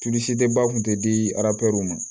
ba kun tɛ di araw ma